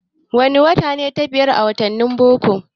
Wane wata ce ta biyar a wattanin boko?